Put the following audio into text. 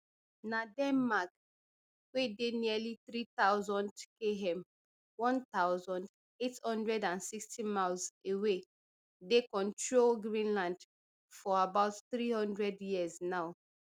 na denmark wey dey nearly three thousand km one thousand, eight hundred and sixty miles away dey control greenland for about three hundred years now